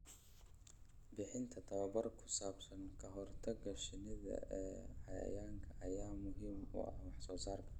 Bixinta tababar ku saabsan ka hortagga shinnida ee cayayaanka ayaa muhiim u ah wax soo saarka.